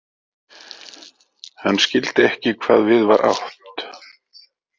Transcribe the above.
Hann skildi ekki hvað við var átt.